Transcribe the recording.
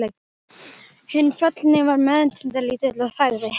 Hinn fallni var meðvitundarlítill og þagði.